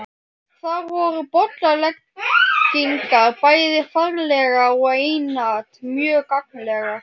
Þar voru bollaleggingar bæði faglegar og einatt mjög gagnlegar.